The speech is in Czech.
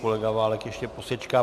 Kolega Válek ještě posečká.